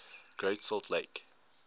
great salt lake